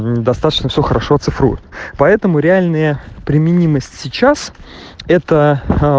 достаточно все хорошо цифрует поэтому реальные применимость сейчас это